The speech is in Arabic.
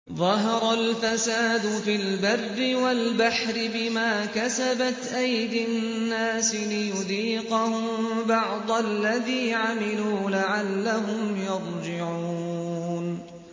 ظَهَرَ الْفَسَادُ فِي الْبَرِّ وَالْبَحْرِ بِمَا كَسَبَتْ أَيْدِي النَّاسِ لِيُذِيقَهُم بَعْضَ الَّذِي عَمِلُوا لَعَلَّهُمْ يَرْجِعُونَ